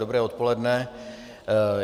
Dobré odpoledne.